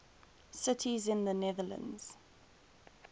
cities in the netherlands